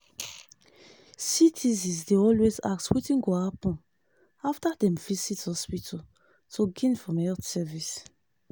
citizens dey always ask wetin go happen after dem visit hospital to gain from health service.